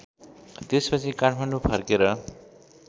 त्यसपछि काठमाडौँ फर्केर